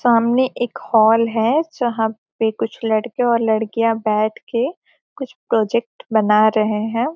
सामने एक हॉल है जहाँ पे कुछ लड़के और लड़कियाँ बैठ के कुछ प्रोजेक्ट बना रहे हैं।